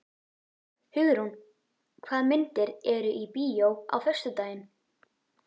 Hugrún, hvaða myndir eru í bíó á föstudaginn?